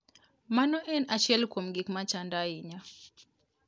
Mano en achiel kuom gik machanda ahinya".